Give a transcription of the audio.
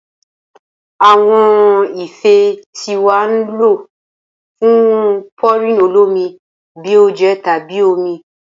Awọn ife ti wa ni lo fun pouring olomi bi oje tabi omi